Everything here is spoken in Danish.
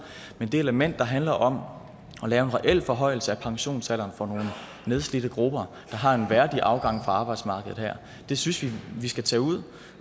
men det element der handler om at lave en reel forhøjelse af pensionsalderen for nogle nedslidte grupper der har en værdig afgang fra arbejdsmarkedet her synes vi at vi skal tage ud